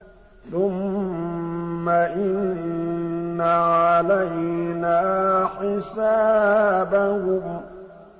ثُمَّ إِنَّ عَلَيْنَا حِسَابَهُم